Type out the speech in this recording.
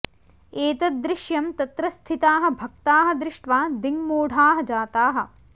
एतद् दृश्यं तत्र स्थिताः भक्ताः दृष्ट्वा दिङ्मूढाः जाताः